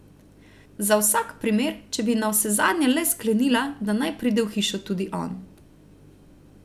Za vsak primer, če bi navsezadnje le sklenila, da naj pride v hišo tudi on.